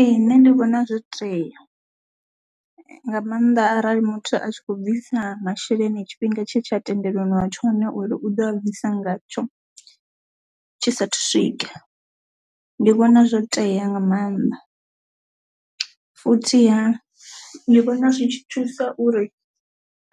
Ee nṋe ndi vhona zwo tea nga maanḓa arali muthu a tshi kho bvisa masheleni tshifhinga tshe tsha tendelaniwa tsho ngauri u ḓo a bvisa ngatsho tshisa thu swika, ndi vhona zwo tea nga mannḓa. Futhiha ndi vhona zwi tshi thusa uri